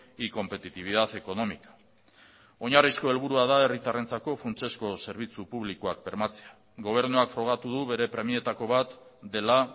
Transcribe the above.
y competitividad económica oinarrizko helburua da herritarrentzako funtsezko zerbitzu publikoak bermatzea gobernuak frogatu du bere premietako bat dela